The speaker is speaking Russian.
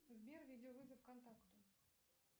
сбер видеовызов контакту